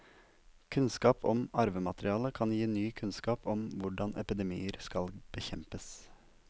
Kunnskap om arvematerialet kan gi ny kunnskap om hvordan epidemier skal bekjempes.